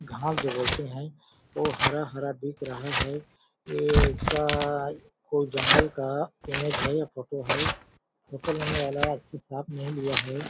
घास जो बोलते हैं वो हरा हरा दिख रहा है ये ऐसा कोई जंगल का इमेज है या फोटो है फोटो लेने वाला अच्छा साफ नहीं लिया है।